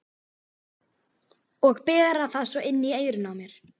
Og bera það svo inn í eyrun á mér!